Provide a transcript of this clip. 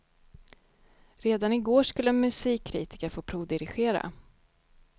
Redan i går skulle en musikkritiker få provdirigera.